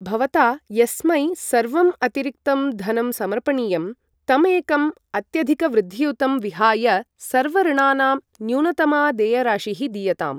भवता यस्मै सर्वम् अतिरिक्तं धनं समर्पणीयं, तम् एकम् अत्यधिकवृद्धियुतं विहाय, सर्व ऋणनां न्यूनतमा देयराशिः दीयताम्।